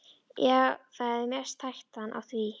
Já, það er mest hættan á því.